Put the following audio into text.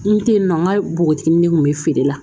N te yen nɔ n ka npogotiginin ne kun be feere la